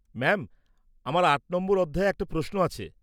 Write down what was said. -Ma'am আমার ৮ নম্বর অধ্যায়ে একটা প্রশ্ন আছে।